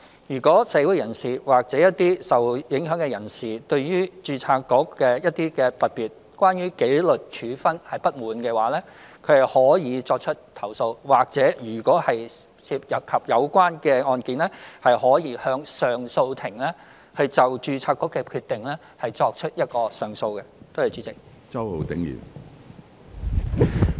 如果社會人士或受影響人士對註冊局的工作——特別是關於紀律處分——有所不滿，他們可以作出投訴，或者如果涉及有關案件，亦可就註冊局的決定向上訴法庭提出上訴。